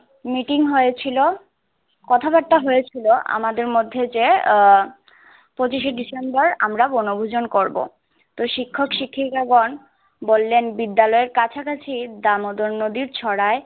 Meeting হয়েছিল কথাবাত্রা হয়েছিল। আমাদের মধ্যে যে আহ পঁচিশে ডিসেম্বার আমরা বনভূজন করব শিক্ষক শিক্ষিকাগণ বলেন বিদ্যালয়ের কাছাকাছি দামদর নদীর ছাড়ায়